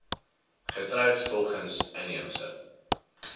getroud volgens inheemse